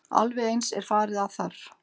Alveg eins er farið að þar.